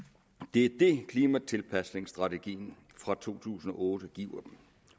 det er det klimatilpasningstrategien fra to tusind og otte giver